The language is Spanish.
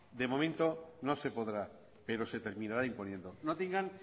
de momento no se podrá pero se terminará imponiendo no tengan